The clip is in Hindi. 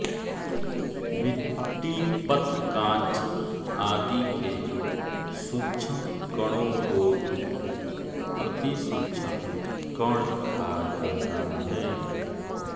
मिट्टीपत्रकांच आदि के सूक्षम कणों को भी अतिसूक्षम कण खा जाता है